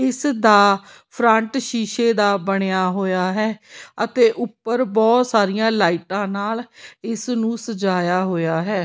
ਇਸ ਦਾ ਫਰੰਟ ਸ਼ੀਸ਼ੇ ਦਾ ਬਣਿਆ ਹੋਇਆ ਹੈ ਅਤੇ ਉੱਪਰ ਬਹੁਤ ਸਾਰੀਆਂ ਲਾਈਟਾਂ ਨਾਲ ਇਸ ਨੂੰ ਸਜਾਇਆ ਹੋਇਆ ਹੈ।